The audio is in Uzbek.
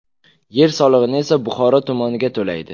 Yer solig‘ini esa Buxoro tumaniga to‘laydi.